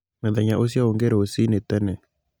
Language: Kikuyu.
Mũthenya ũcio ũngĩ rũcine tene